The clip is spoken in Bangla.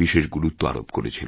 বিশেষ গুরুত্ব আরোপ করেছিলেন